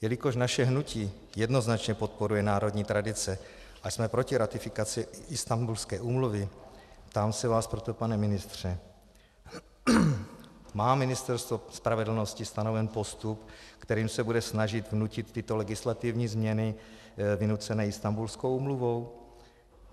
Jelikož naše hnutí jednoznačně podporuje národní tradice a jsme proti ratifikaci Istanbulské úmluvy, ptám se vás proto, pane ministře: Má Ministerstvo spravedlnosti stanoven postup, kterým se bude snažit vnutit tyto legislativní změny vynucené Istanbulskou úmluvou?